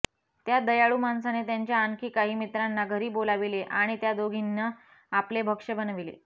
त्या दयाळू माणसाने त्यांच्या आणखी काही मित्रांना घरी बोलाविले आणि त्या दोघींना आपले भक्ष बनविले